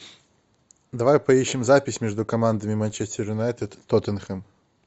давай поищем запись между командами манчестер юнайтед тоттенхэм